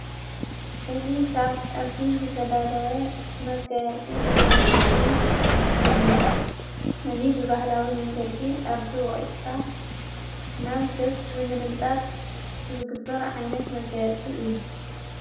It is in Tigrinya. ሕዙ ኻብ ዕርዲ ዘተዳለ መጋያፂ ደቃንስትዮ እዩ እዙ ብባህላዊ መንገዲ ኣርዱ ወይዕካ ናብ ገጽ ብምልምጣት ዝግብር ዓይነት መጋያፂ እዩ ::